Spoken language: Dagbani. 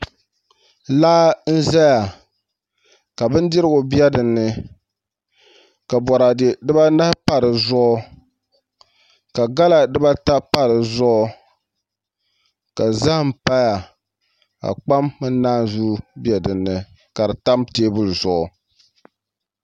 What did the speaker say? Laa n ʒɛya ka bindirigu bɛ dinni ka boraadɛ dibanahi pa di zuɣu ka gala dibata pa di zuɣu ka zaham paya ka kpam mini naanzuu bɛ dinni ka di tam teebuli zuɣu